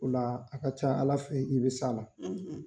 O la a ka ca Ala fɛ i bɛ s'a la.